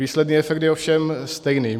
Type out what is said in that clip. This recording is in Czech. Výsledný efekt je ovšem stejný.